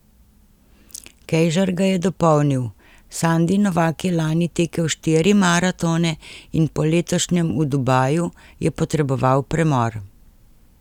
Kejžar ga je dopolnil: 'Sandi Novak je lani tekel štiri maratone in po letošnjem v Dubaju je potreboval premor.